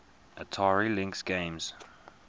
atari lynx games